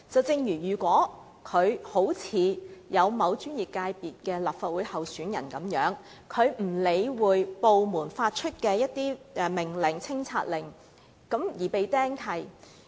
正如某專業界別的立法會候選人，他不理會部門發出的清拆令，結果被"釘契"。